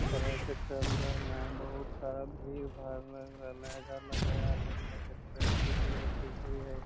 तरह के चल रहले हैन बहुत सारा भीड़-भाड़ लग रहले हैन इधर लगे या आगे में जाके ट्रैफिक-उरैफिक भी हई।